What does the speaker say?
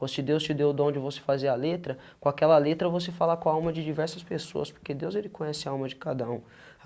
Se Deus te deu o dom de você fazer a letra, com aquela letra você fala com a alma de diversas pessoas, porque Deus ele conhece a alma de cada um.